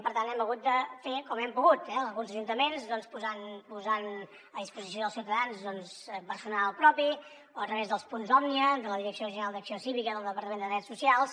per tant ho hem hagut de fer com hem pogut eh alguns ajuntaments doncs posant a disposició dels ciutadans personal propi o a través dels punts òmnia de la direcció general d’acció cívica del departament de drets socials